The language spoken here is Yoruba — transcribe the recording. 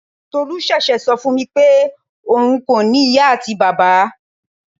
Tolu sese sọ fún mi pé òun kò ní ìyá àti bàbá.